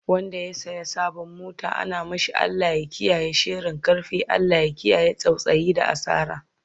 Wanda ya saya sabon mota ana mashi Allah ya kiyaye sharin karfe, Allah ya kiyaye tsautsayi da asara